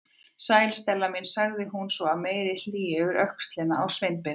Sæl, Stella mín- sagði hún svo af meiri hlýju yfir öxlina á Sveinbirni.